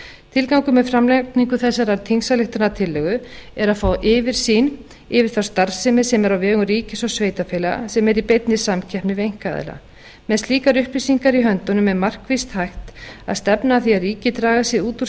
tilgangur með framlagningu þessarar þingsályktunartillögu er að fá yfirsýn yfir þá starfsemi sem er á vegum ríkis og sveitarfélaga sem er í beinni samkeppni við einkaaðila með slíkar upplýsingar í höndunum er markvisst hægt að stefna að því að ríkið dragi sig út úr